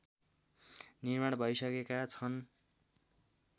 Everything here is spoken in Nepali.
निर्माण भैसकेका छन्